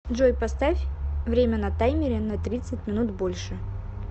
джой поставь время на таймере на тридцать минут больше